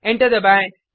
enter दबाएँ